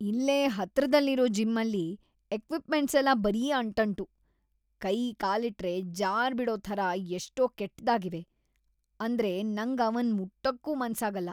ಇಲ್ಲೇ ಹತ್ರದಲ್ಲಿರೋ ಜಿಮ್‌ಅಲ್ಲಿ ಎಕ್ವಿಪ್ಮೆಂಟ್ಸೆಲ್ಲ ಬರೀ ಅಂಟಂಟು.. ಕೈ ಕಾಲಿಟ್ರೆ ಜಾರ್ಬಿಡೋ ಥರ ಎಷ್ಟ್ ಕೆಟ್ದಾಗಿವೆ ಅಂದ್ರೆ ನಂಗ್‌ ಅವನ್ನ ಮುಟ್ಟೋಕೂ ಮನ್ಸಾಗಲ್ಲ.